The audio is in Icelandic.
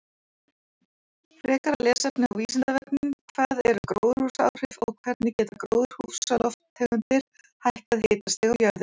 Frekara lesefni á Vísindavefnum: Hvað eru gróðurhúsaáhrif og hvernig geta gróðurhúsalofttegundir hækkað hitastig á jörðinni?